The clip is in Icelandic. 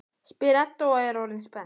spyr Edda og er orðin spennt.